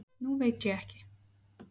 Nú veit ég ekki.